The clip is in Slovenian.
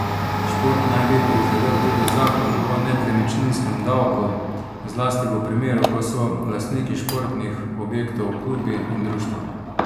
Šport naj bi prizadel tudi zakon o nepremičninskem davku, zlasti v primeru, ko so lastniki športnih objektov klubi in društva.